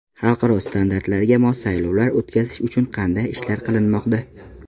Xalqaro standartlarga mos saylovlar o‘tkazish uchun qanday ishlar qilinmoqda?